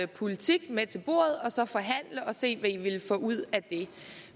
politik med til bordet og så forhandle og se ville få ud af det